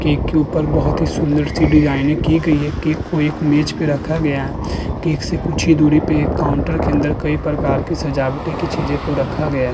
Cake के ऊपर बहोत ही सुंदर सी डिजाइने की गई है। केक को एक मेज पर रखा गया। केक कुछ ही दूरी पर एक काउंटर के अंदर कई सजावट की चीजों को रखा गया।